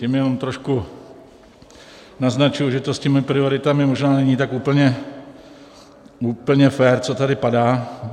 Tím jenom trošku naznačuji, že to s těmi prioritami možná není tak úplně fér, co tady padá.